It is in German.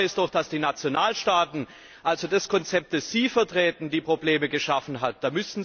Tatsache ist doch, dass die Nationalstaaten also das Konzept, das Sie vertreten die Probleme geschaffen haben.